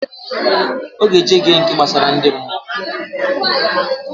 Oga eje ge nke gbasara ndi mmụọ